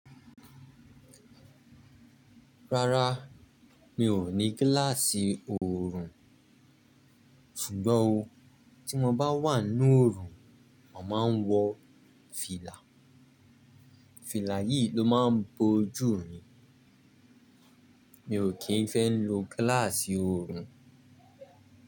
Rárá, mi ò ní gíláàsì oorun, ṣùgbọ́n o tí mo bá wà ní oorun, mo máa ń wọ fìlà. Fìlà yìí ló máa ń bojú mi. Mi ò kí ń fẹ́ lo gíláàsì oorun.